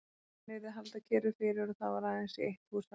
Hann yrði að halda kyrru fyrir og það var aðeins í eitt hús að venda.